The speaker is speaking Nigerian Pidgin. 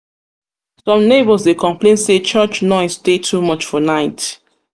neighbors dey complain say church church noise dey too much for night.